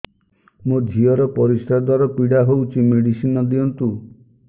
ମୋ ଝିଅ ର ପରିସ୍ରା ଦ୍ଵାର ପୀଡା ହଉଚି ମେଡିସିନ ଦିଅନ୍ତୁ